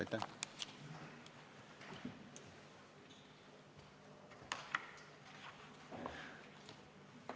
Aitäh!